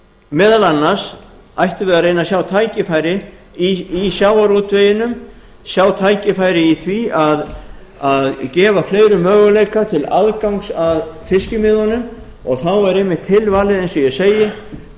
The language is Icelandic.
meðal annars ættum við að reyna að sjá tækifæri í sjávarútveginum sjá tækifæri í því að gefa fleirum möguleika til aðgangs að fiskimiðunum og þá væri einmitt tilvalið eins og ég